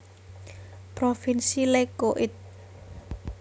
Provinsi Lecco It